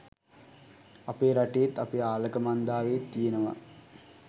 අපේ රටේත්, අපේ ආලකමන්දාවෙත් තියෙනවා.